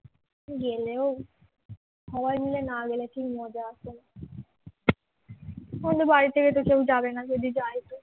গেলেও সবাই মিলে না গেলে কি মজা আসে না আমাদের বাড়ি থেকে তো কেউ যাবে না যদি যায় তো